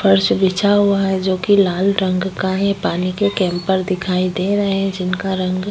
फर्श बिछा हुआ है जो कि लाल रंग का है। पानी के कैंपर दिखाई दे रहे हैं जिनका रंग --